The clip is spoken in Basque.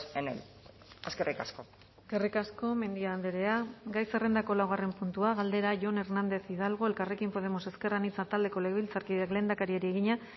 en el eskerrik asko eskerrik asko mendia andrea gai zerrendako laugarren puntua galdera jon hernández hidalgo elkarrekin podemos ezker anitza taldeko legebiltzarkideak lehendakariari egina